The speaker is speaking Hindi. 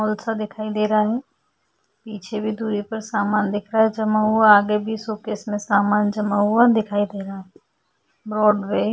मॉल सा दिखाई दे रहा है पीछे भी दुरी पर सामान दिख रहा है जमा हुआ आगे भी शोकेस में सामान जमा हुआ दिखाई दे रहा है। ब्रॉडवे --